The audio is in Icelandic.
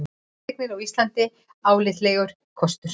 Fasteignir á Íslandi álitlegur kostur